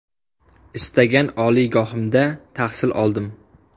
Istagan oliygohimda tahsil oldim.